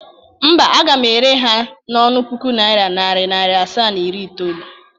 Mba, aga m ere ha n' ọnụ puku naira, nari naira asaa, na iri itoolu.